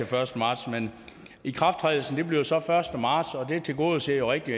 første marts ikrafttrædelsen bliver så den første marts og det tilgodeser rigtig